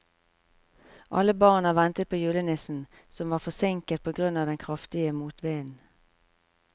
Alle barna ventet på julenissen, som var forsinket på grunn av den kraftige motvinden.